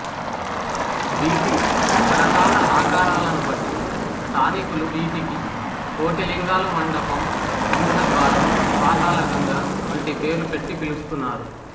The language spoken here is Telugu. వీటి రకరకాల ఆకారాలను బట్టి స్థానికులు వీటికి కోటిలింగాలు మండపం సింహద్వారం పాతాళగంగ వంటి పేర్లు పెట్టి పిలుస్తున్నారు